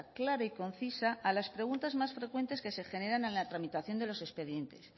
clara y concisa a las preguntas más frecuentes que se generan en la tramitación de los expedientes